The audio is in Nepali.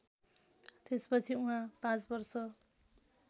त्यसपछि उहाँ ५वर्ष